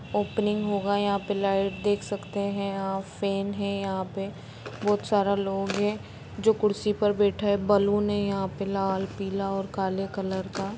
opening होगा यहाँ पर लाइट देख सखते है और फेन है यहाँ पे बहुत सारा लोग है जो कुर्सी पर बैठा है बैलून यहाँ पे लाल पिला और काले कलर का--